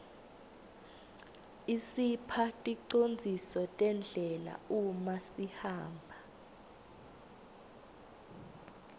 isipha ticondziso tendlela uma sihamba